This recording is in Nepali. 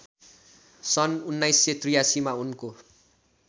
सन् १९८३ मा उनको